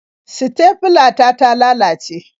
Sitefila ta ta lalace.